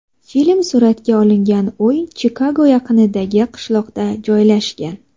Film suratga olingan uy Chikago yaqinidagi qishloqda joylashgan.